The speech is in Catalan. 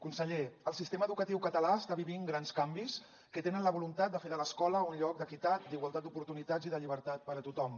conseller el sistema educatiu català està vivint grans canvis que tenen la voluntat de fer de l’escola on lloc d’equitat d’igualtat d’oportunitats i de llibertat per a tothom